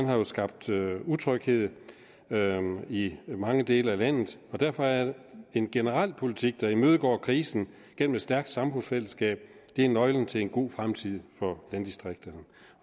har jo skabt utryghed i mange dele af landet og derfor er en generel politik der imødegår krisen gennem et stærkt samfundsfællesskab nøglen til en god fremtid for landdistrikterne